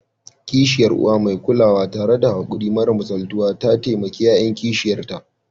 Kishiyar Uwa mai kulawa, tare da haƙuri mara misaltuwa, ta taimaki ƴaƴan kishiyarta